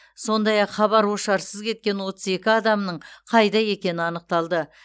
сондай ақ хабар ошарсыз кеткен отыз екі адамның қайда екені анықталды